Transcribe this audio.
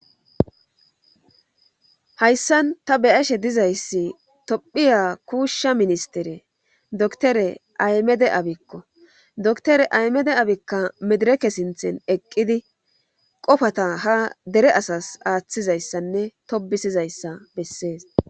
Hayssan ta beyashe dizayssi tophiya kuushsha ministere doktore aymede abikko doktore aymede abikka medireke sinthen eqqidi qofata ha dere asas aaththizayssanne tobisizayssa bessees.